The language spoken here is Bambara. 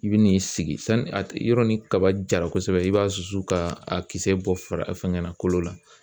I bi n'i sigi sani a yɔrɔ ni kaba jara kosɛbɛ i b'a susu ka a kisɛ bɔ fara fɛngɛ na kolo la